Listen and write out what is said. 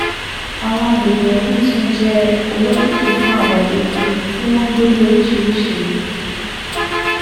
àwọn àgbègbè wọ̀nyí tún jẹ́ olokiki fún àwọn ilé gbígbé tí wọ́n ń gbé ní oríṣiríṣi